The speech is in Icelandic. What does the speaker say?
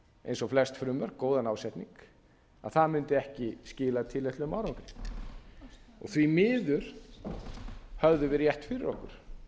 eins og flest frumvörp góðan ásetning að það mundi ekki skila tilætluðum árangri því miður höfðum við rétt fyrir okkur